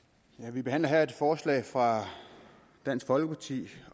vi behandler her et forslag fra dansk folkeparti